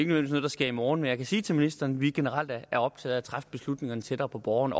noget der sker i morgen men jeg kan sige til ministeren at vi generelt er optaget af at træffe beslutningerne tættere på borgerne